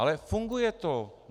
Ale funguje to.